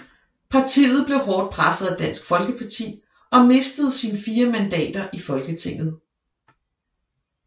Partiet blev hårdt presset af Dansk Folkeparti og mistede sine fire mandater i Folketinget